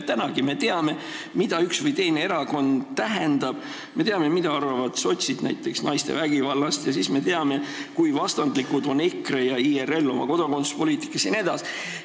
Tänagi me teame, mida üks või teine erakond tähendab, me teame, mida arvavad sotsid näiteks naiste vägivallast, ja siis me teame, kui vastandlikud on EKRE ja IRL oma kodakondsuspoliitika poolest jne.